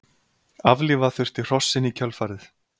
Aflífa þurfti hrossin í kjölfarið